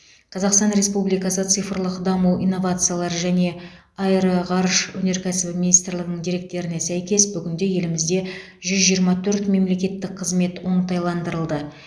қазақстан республикасы цифрлық даму инновациялар және аэроғарыш өнеркәсібі министрлігінің деректеріне сәйкес бүгінде елімізде жүз жиырма төрт мемлекеттік қызмет оңтайландырылды